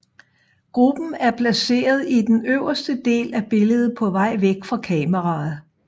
Gruppen er placeret i den øverste del af billedet på vej væk fra kameraet